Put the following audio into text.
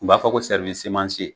U b'a fɔ ko sɛriwisi seman se